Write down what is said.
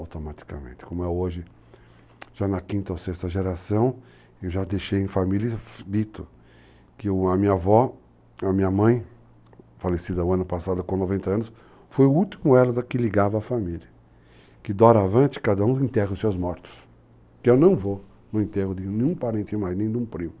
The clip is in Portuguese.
automaticamente, como é hoje, já na quinta ou sexta geração, eu já deixei em família dito que a minha avó, a minha mãe, falecida o ano passado com 90 anos, foi o último elo que ligava a família, que doravante cada um enterra os seus mortos, que eu não vou no enterro de nenhum parente mais, nem de um primo.